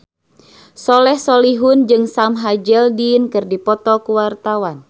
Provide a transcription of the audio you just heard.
Soleh Solihun jeung Sam Hazeldine keur dipoto ku wartawan